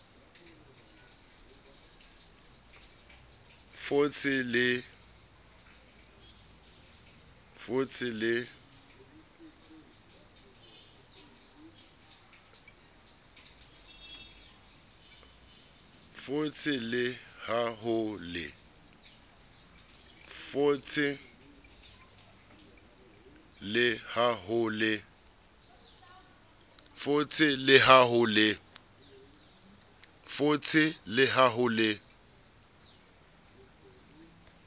fotse le ha ho le